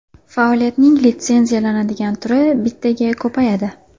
Faoliyatning litsenziyalanadigan turi bittaga ko‘payadi.